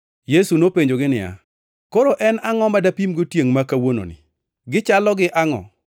Yesu nopenjogi niya, “Koro en angʼo ma dapimgo tiengʼ ma kawuononi? Gichalo gi angʼo?